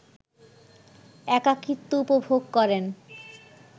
একাকিত্ব উপভোগ করেন